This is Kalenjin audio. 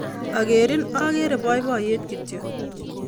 Akerin akere poipoiyet kityo